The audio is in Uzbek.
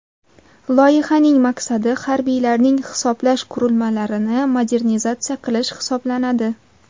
Loyihaning maqsadi harbiylarning hisoblash qurilmalarini modernizatsiya qilish hisoblanadi.